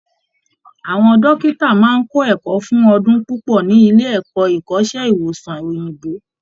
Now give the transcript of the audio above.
Àwọn dọ́kìtà máa ń kọ́ ẹ̀kọ́ fún ọdún púpọ́ ní iléẹ̀kọ́ ìkọ́sẹ́ ìwòsàn òyìnbó